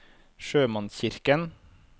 sjømannskirken